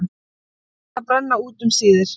Allir eldar brenna út um síðir.